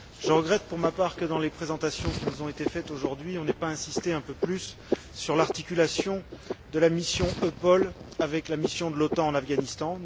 Je regrette pour ma part que, dans les présentations qui nous ont été faites aujourd'hui, on n'ait pas insisté un peu plus sur l'articulation de la mission EUPOL avec la mission de l'OTAN en Afghanistan.